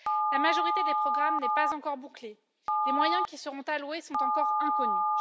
La majorité des programmes n'est pas encore bouclée, les moyens qui seront alloués sont encore inconnus.